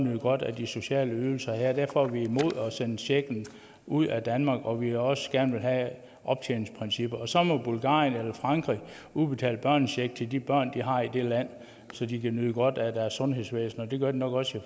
nyde godt af de sociale ydelser her derfor er vi imod at sende checken ud af danmark og vi vil også gerne have optjeningsprincipper og så må bulgarien eller frankrig udbetale børnecheck til de børn de har i det land så de kan nyde godt af deres sundhedsvæsen det gør de nok også